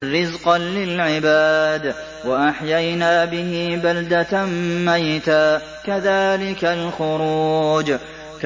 رِّزْقًا لِّلْعِبَادِ ۖ وَأَحْيَيْنَا بِهِ بَلْدَةً مَّيْتًا ۚ كَذَٰلِكَ الْخُرُوجُ